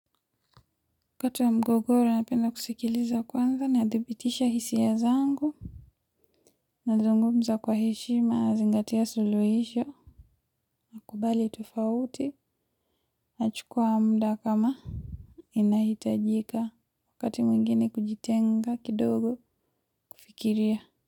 Kati ya mgogoro, napenda kusikiliza kwanza nadhibitisha hisia zangu. Nazungumza kwa heshima nazingatia suluhisho. Nakubali tofauti. Nachukua muda kama. Inahitajika wakati mwingine kujitenga kidogo kufikiria.